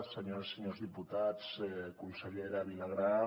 senyores i senyors diputats consellera vilagrà